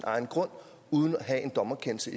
egen grund uden at have en dommerkendelse